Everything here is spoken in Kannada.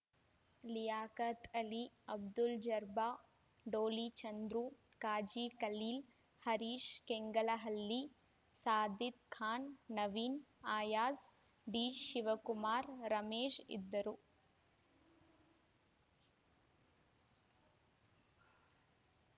ಲಿಯಾಖತ್‌ ಅಲಿ ಅಬ್ದುಲ್‌ ಜರ್ಬ ಡೋಲಿ ಚಂದ್ರು ಖಾಜಿ ಖಲೀಲ್‌ ಹರೀಶ ಕೆಂಗಲಹಳ್ಳಿ ಸಾದಿಕ್‌ ಖಾನ್‌ ನವೀನ ಅಯಾಜ್‌ ಡಿಶಿವಕುಮಾರ ರಮೇಶ ಇದ್ದರು